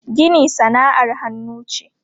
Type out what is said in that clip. Gini sana'ar hannu ce.